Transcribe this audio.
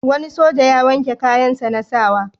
Wani soja ya wanke kayansa na sa wa.